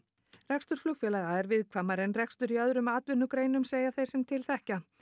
rekstur flugfélaga er viðkvæmari en rekstur í öðrum atvinnugreinum segja þeir sem til þekkja